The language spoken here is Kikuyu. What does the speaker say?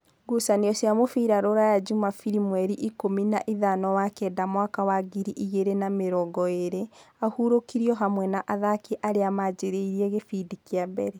Ngucanio cia mũbira Ruraya Jumabiri mweri ikũmi naithano wa kenda mwaka wa ngiri igĩrĩ na namĩrongoĩrĩ: Ahurũkirio hamwe na athaki arĩa manjĩrĩirie gĩbindi kĩa mbere.